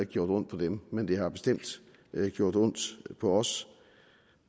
gjort ondt på dem men det har bestemt gjort ondt på os